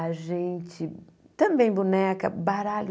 A gente também boneca, baralho.